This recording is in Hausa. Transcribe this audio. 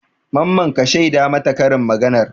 Mamman ka shaida mata karin maganar?